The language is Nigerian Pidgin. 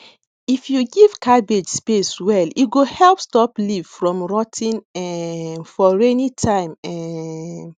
if you give cabbage space well e go help stop leaf from rot ten um for rainy time um